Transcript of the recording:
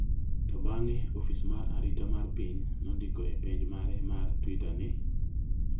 to bang’e, Ofis mar Arita mar Piny nondiko e pej mare mar Twitter ni,